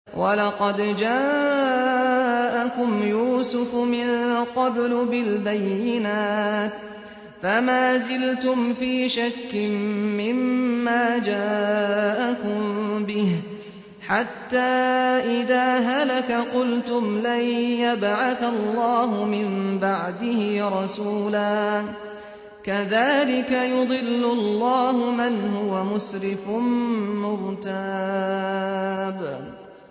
وَلَقَدْ جَاءَكُمْ يُوسُفُ مِن قَبْلُ بِالْبَيِّنَاتِ فَمَا زِلْتُمْ فِي شَكٍّ مِّمَّا جَاءَكُم بِهِ ۖ حَتَّىٰ إِذَا هَلَكَ قُلْتُمْ لَن يَبْعَثَ اللَّهُ مِن بَعْدِهِ رَسُولًا ۚ كَذَٰلِكَ يُضِلُّ اللَّهُ مَنْ هُوَ مُسْرِفٌ مُّرْتَابٌ